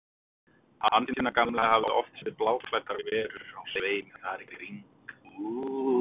Hansína gamla hafði oft séð bláklæddar verur á sveimi þar í kring.